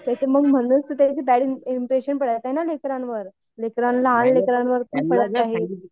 ते तर मग म्हणूनच बॅड इम्प्रेशन पडतंय ना लेकरांवर. लेकरांना आई